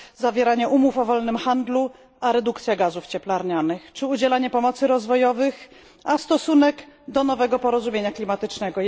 zawieranie umów o wolnym handlu a redukcja gazów cieplarnianych czy udzielanie pomocy rozwojowych a stosunek do nowego porozumienia klimatycznego.